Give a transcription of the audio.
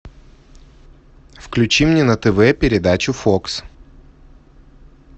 включи мне на тв передачу фокс